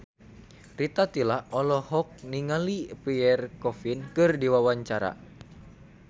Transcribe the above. Rita Tila olohok ningali Pierre Coffin keur diwawancara